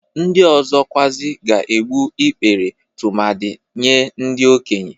Ndị ọzọ kwarị ga-egbu ikpere tumadị Nye ndị okenye.